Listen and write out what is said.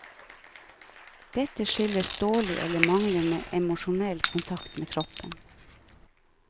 Dette skyldes dårlig eller manglende emosjonell kontakt med kroppen.